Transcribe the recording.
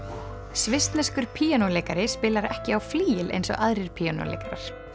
svissneskur píanóleikari spilar ekki á flygil eins og aðrir píanóleikarar